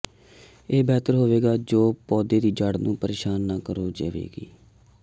ਇਹ ਬਿਹਤਰ ਹੋਵੇਗਾ ਜੇ ਪੌਦੇ ਦੀ ਜੜ੍ਹ ਨੂੰ ਪਰੇਸ਼ਾਨ ਨਾ ਕਰੋ ਜਾਵੇਗੀ